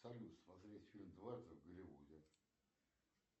салют смотреть фильм однажды в голливуде